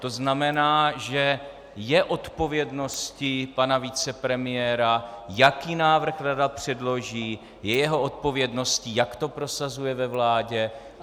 To znamená, že je odpovědností pana vicepremiéra, jaký návrh rada předloží, je jeho odpovědností, jak to prosazuje ve vládě.